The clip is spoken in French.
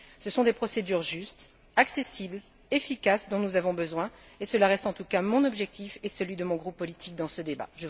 Ce sont des procédures justes, accessibles, efficaces, dont nous avons besoin et cela reste en tout cas mon objectif et celui de mon groupe politique dans ce débat.